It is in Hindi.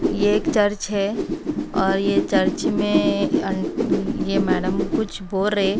ये एक चर्च है और ये चर्च में अन ये मैडम कुछ बोरे--